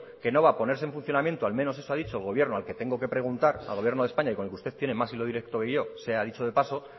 que no va a ponerse en funcionamiento al menos eso ha dicho el gobierno al que tengo que preguntar al gobierno de españa y con el que usted tiene más hilo directo que yo sea dicho de paso